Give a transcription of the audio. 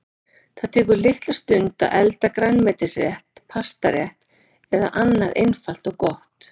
Það tekur litla stund að elda grænmetisrétt, pastarétt eða annað einfalt og gott.